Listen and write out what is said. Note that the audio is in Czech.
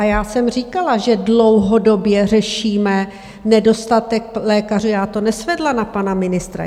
A já jsem říkala, že dlouhodobě řešíme nedostatek lékařů, já to nesvedla na pana ministra.